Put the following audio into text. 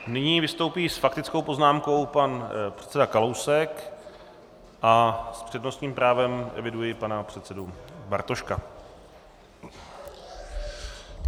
Nyní vystoupí s faktickou poznámkou pan předseda Kalousek a s přednostním právem eviduji pana předsedu Bartoška.